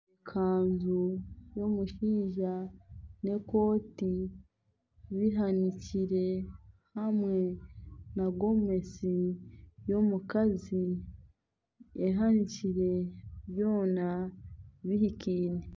Ekanzu y'omushaija n'ekooti bitandikire hamwe nagomesi y'omukazi ehanikire byona bihikiime.